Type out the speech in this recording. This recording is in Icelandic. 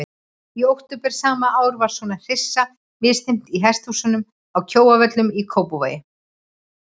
Í október sama ár var svo hryssu misþyrmt í hesthúsum að Kjóavöllum í Kópavogi.